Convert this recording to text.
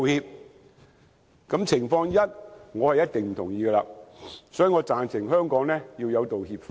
對於上述情況一，我是絕對不同意，所以，我贊成香港要有道歉法。